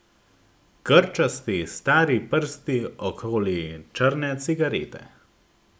Grčasti stari prsti okoli črne cigarete.